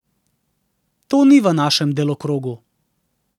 To ni v našem delokrogu.